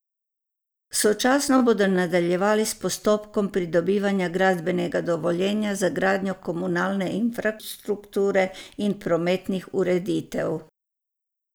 Sočasno bodo nadaljevali s postopkom pridobivanja gradbenega dovoljenja za gradnjo komunalne infrastrukture in prometnih ureditev.